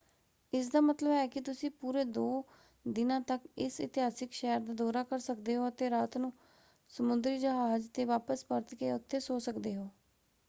ਇਸਦਾ ਮਤਲਬ ਹੈ ਕਿ ਤੁਸੀਂ ਪੂਰੇ ਦੋ ਦਿਨਾਂ ਤੱਕ ਇਸ ਇਤਿਹਾਸਕ ਸ਼ਹਿਰ ਦਾ ਦੌਰਾ ਕਰ ਸਕਦੇ ਹੋ ਅਤੇ ਰਾਤ ਨੂੰ ਸਮੁੰਦਰੀ ਜਹਾਜ਼ ‘ਤੇ ਵਾਪਸ ਪਰਤ ਕੇ ਉੱਥੇ ਸੌਂ ਸਕਦੇ ਹੋ।